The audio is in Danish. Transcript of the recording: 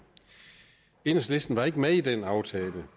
enhedslisten var ikke med i den aftale